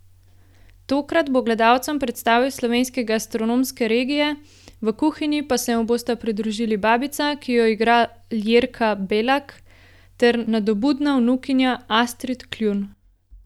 Tokrat bo gledalcem predstavil slovenske gastronomske regije, v kuhinji pa se mu bosta pridružili babica, ki jo igra Ljerka Belak, ter nadobudna vnukinja Astrid Kljun.